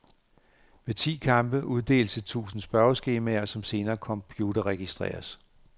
Ved ti kampe uddeles et tusind spørgeskemaer, som senere computerregistreres.